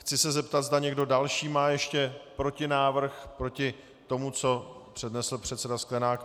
Chci se zeptat, zda někdo další má ještě protinávrh proti tomu, co přednesl předseda Sklenák.